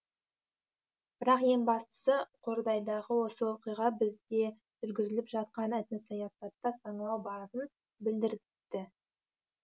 бірақ ең бастысы қордайдағы осы оқиға бізде жүргізіліп жатқан этносаясатта саңылау барын білдіртті